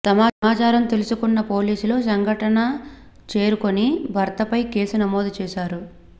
సమాచారం తెలుసుకున్న పోలీసులు సంఘటన చేరుకని భర్త పై కేసు నమోదు చేశారు